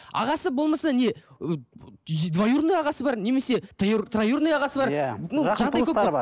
ағасы болмаса не ы двоюродной ағасы бар немесе троюродной ағасы бар иә